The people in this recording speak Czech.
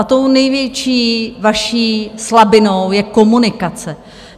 A tou největší vaší slabinou je komunikace.